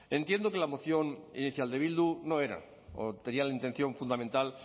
entiendo que la moción inicial de bildu no era o tenía la intención fundamental